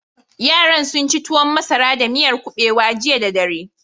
Yaran sun ci tuwon masara da miyar kuɓewa jiya da dare.